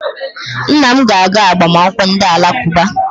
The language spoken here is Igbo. Nna m ga-aga agbamakwụkwọ ndị Alakụba.